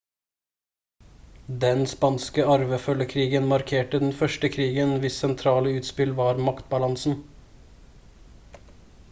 den spanske arvefølgekrigen markerte den første krigen hvis sentrale utspill var maktbalansen